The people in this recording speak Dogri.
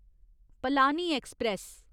पलानी ऐक्सप्रैस